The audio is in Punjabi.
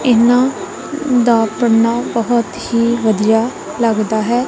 ਇਨਾ ਦਾ ਪਰਨਾ ਬਹੁਤ ਹੀ ਵਧੀਆ ਲੱਗਦਾ ਹੈ।